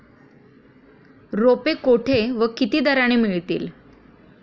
रोपे कोठे व किती दराने मिळतील.